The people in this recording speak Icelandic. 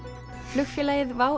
flugfélagið WOW